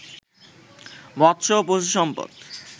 মৎস্য ও পশুসম্পদ